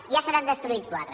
ja se n’han destruït quatre